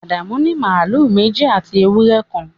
Adamu ní màlúù méjì àti ewúrẹ́ kan